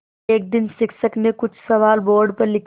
एक दिन शिक्षक ने कुछ सवाल बोर्ड पर लिखे